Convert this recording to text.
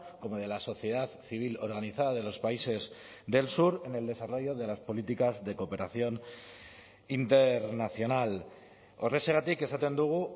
como de la sociedad civil organizada de los países del sur en el desarrollo de las políticas de cooperación internacional horrexegatik esaten dugu